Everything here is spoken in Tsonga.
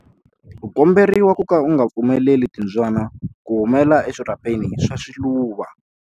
U komberiwa ku ka u nga pfumeleli timbyana ku humela eswirhapeni swa swiluva.